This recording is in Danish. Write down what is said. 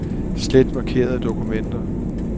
Slet markerede dokumenter.